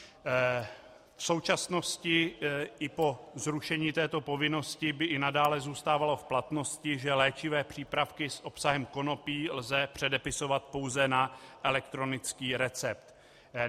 V současnosti i po zrušení této povinnosti by i nadále zůstávalo v platnosti, že léčivé přípravky s obsahem konopí lze předepisovat pouze na elektronický recept.